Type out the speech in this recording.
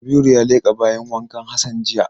Kabiru ya leƙa bayin wankan Hassan jiya.